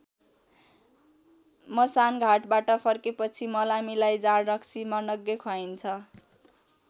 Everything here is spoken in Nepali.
मसान घाटबाट फर्केपछि मलामीलाई जाँड रक्सी मनग्गे खुवाइन्छ।